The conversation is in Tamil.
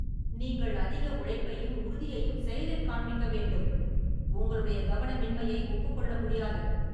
நீங்கள், அதிக உழைப்பையும், உறுதியையும் செயலில் காண்பிக்க வேண்டும், உங்களுடைய கவனமின்மையை ஒப்புக்கொள்ள முடியாது.